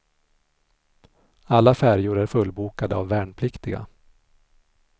Alla färjor är fullbokade av värnpliktiga.